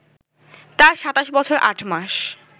তার ২৭ বছর ৮ মাস